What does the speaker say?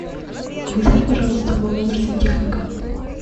вызови пожалуйста в мой номер сантехника